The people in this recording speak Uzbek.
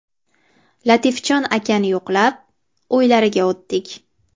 Latifjon akani yo‘qlab, uylariga o‘tdik.